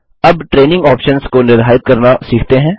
अबTraining options को निर्धारित करना सीखते हैं